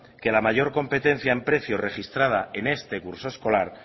que la mayor competencia en precios registrada en este curso escolar